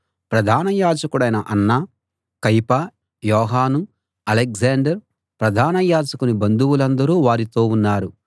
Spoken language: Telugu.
ప్రధాన యాజకుడైన అన్న కయప యోహాను అలెగ్జాండర్ ప్రధాన యాజకుని బంధువులందరూ వారితో ఉన్నారు